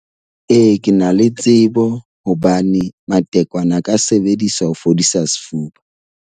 Ee, ke na le tsebo hobane matekwane a ka sebediswa ho fodisa sefuba.